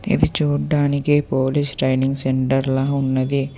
ఇది చూడ్డానికి police training centre లా ఉన్నది.